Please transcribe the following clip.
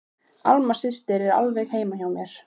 Alma systir er alveg hjá mér.